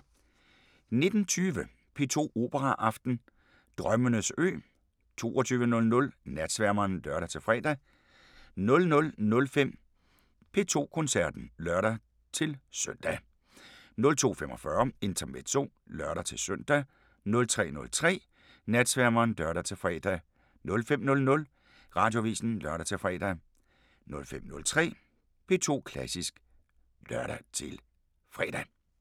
19:20: P2 Operaaften: Drømmenes ø 22:00: Natsværmeren (lør-fre) 00:05: P2 Koncerten (lør-søn) 02:45: Intermezzo (lør-søn) 03:03: Natsværmeren (lør-fre) 05:00: Radioavisen (lør-fre) 05:03: P2 Klassisk (lør-fre)